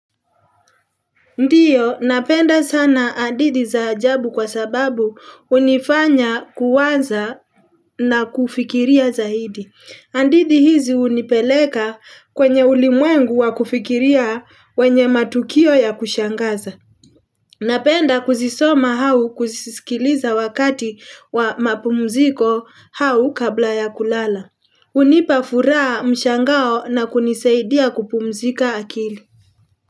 Ndiyo, napenda sana hadithi za ajabu kwa sababu unifanya kuwaza na kufikiria zaidi. Hadithi hizi unipeleka kwenye ulimwengu wa kufikiria wenye matukio ya kushangaza. Napenda kuzisoma hau kuzisikiliza wakati wa mapumziko hau kabla ya kulala. Unipafuraa mshangao na kunisaidia kupumzika akili.